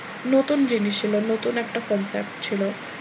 নতুন জিনিস ছিলো নতুন একটা compact ছিল,